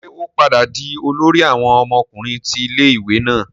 Ṣe o padà dì olórí awon ọmọkùnrin ti ilé-ìwé náà?